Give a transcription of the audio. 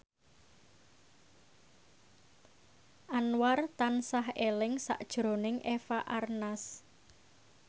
Anwar tansah eling sakjroning Eva Arnaz